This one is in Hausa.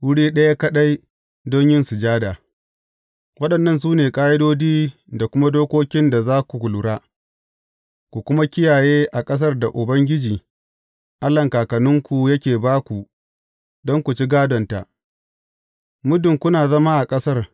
Wuri ɗaya kaɗai don yin sujada Waɗannan su ne ƙa’idodi da kuma dokokin da za ku lura, ku kuma kiyaye a ƙasar da Ubangiji, Allahn kakanninku, yake ba ku don ku ci gādonta, muddin kuna zama a ƙasar.